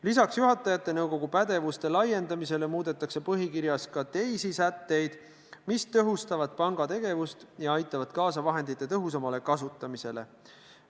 Lisaks juhatajate nõukogu pädevuse laiendamisele muudetakse põhikirjas teisi sätteid, mis tõhustavad panga tegevust ja aitavad kaasa vahendite tõhusamale kasutamisele.